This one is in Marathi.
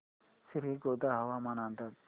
श्रीगोंदा हवामान अंदाज